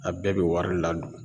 A bɛɛ bɛ wari ladon.